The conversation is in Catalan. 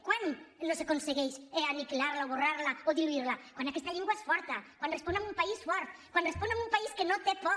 quan no s’aconsegueix aniquilar·la o esborrar·la o diluir·la quan aquesta llengua és forta quan respon a un país fort quan res·pon a un país que no té por